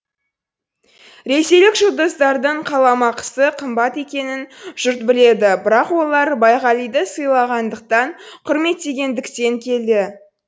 ресейлік жұлдыздардың қаламақысы қымбат екенін жұрт біледі бірақ олар байғалиды сыйлағандықтан құрметтегендіктен келді